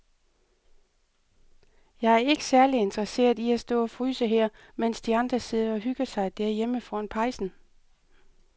Jeg er ikke særlig interesseret i at stå og fryse her, mens de andre sidder og hygger sig derhjemme foran pejsen.